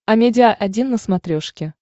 амедиа один на смотрешке